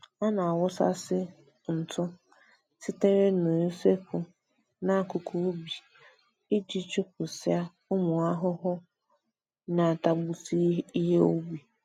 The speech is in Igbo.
A na-awụsasị ntụ sitere n'usekwu n'akụkụ ubi iji chụpụsịa ụmụ ahụhụ na-atagbusị ihe ubi